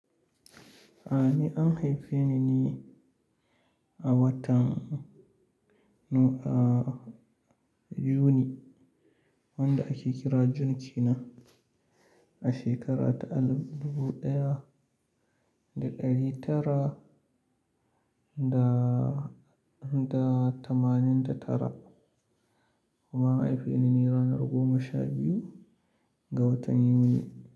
A ni an haife ni a watan Nu a Yuni, wanda ake kira Jun China a shekara ta alif dubu ɗaya da ɗari tara da, da tamanin da tara. Kuma an haifeni ne ranar goma sha biyu ga watan Yuni.